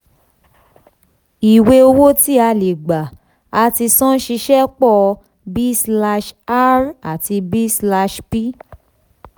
um àfikún sí ìwé àkọsílẹ̀ ni a kó sí ìwé àkọsílẹ̀.